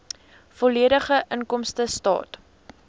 volledige inkomstestaat